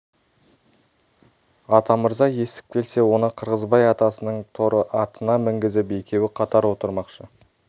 атамырза естіп келсе оны қырғызбай атасының торы атына мінгізіп екеуі қатар отырмақшы